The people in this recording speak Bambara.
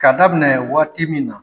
Ka daminɛ waati min na.